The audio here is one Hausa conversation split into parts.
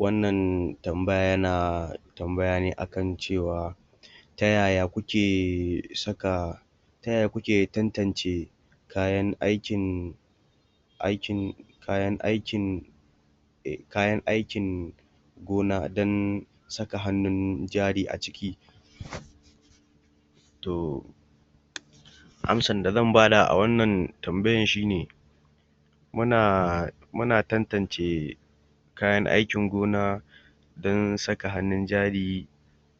Wannan tambaya yana tambaya ne akan cewa ta yaya kuke saka, ta yaya kuke tatance kayan aikin aikin, kayan aikin kayan aikin gona don saka hannun jari a ciki? To, amsar da zan bada a wannan tambayan shine muna, muna tantance kayan aikin gona don saka hannun jari,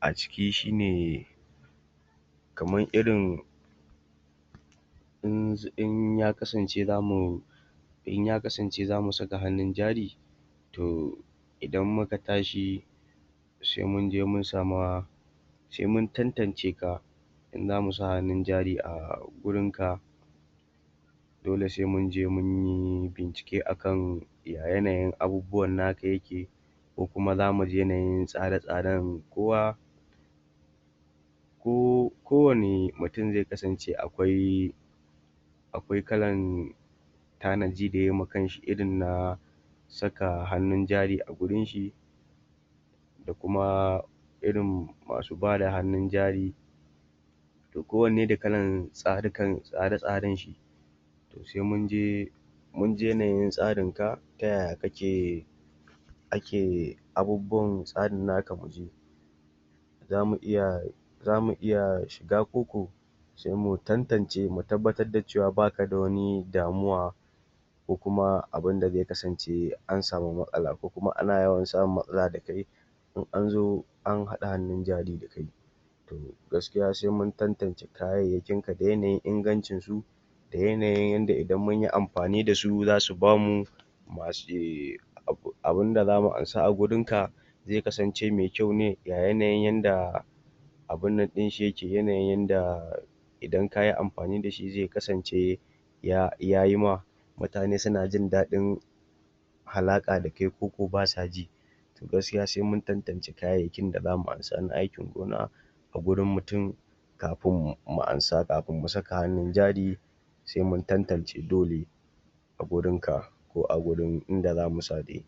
a ciki shine kaman irin in ya kasance za mu in ya kasance za mu saka hannun jari, to, idan muka tashi sai munje mun sama sai mun tantance ka in zamu sa hannun jari a gurinka, dole sai munje munyi bincike akan ya yanayin abubuwan naka yake ko kuma zamu ji yanayin tsare-tsaren kowa ko wanne mutum zai kasance akwai akwai kalan tanaji da yai ma kan shi irin na saka hannun jari a gurin shi, da kuma irin masu bada hannnun jari to kowanne da kalan tsare-tsarenshi. To sai mun je munji yanayin tsarinka, ta yaya kake ake abubuwan tsarin nakamuji, zamu iya, zamu iya shiga koko? Sai mu tantance mu tabbatar da cewa baka da wani damuwa ko kuma abinda zai kasance an sami matsala ko kuma ana yawan samun matsala da kai, in an zo an haɗa hannun jari da kai. Gaskiya sai mun tantance yanayin kayanka da yanayin ingancin su, da yanayin yanda idan in mu yi amfani da su za su bamu, wato abunda za mu ansa a gurinka zai kasance mai kyau ne, ya yanayin yanda, abinnan ɗinshi yake, yanayin yanda idan kayi amfani da shi zai kasance ya yayima, mutane suna jin daɗin halaƙa da kai koko ba sa ji. To gaskiya sai mun tantance kayayyakin da za mu ansa na aikin gona, a gurin mutum kafin mu ansa, kafin mu saka hannun jari sai mun tantance dole. a gurinka ko a gurin inda za mu sa dai.